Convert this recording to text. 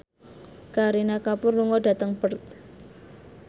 Kareena Kapoor lunga dhateng Perth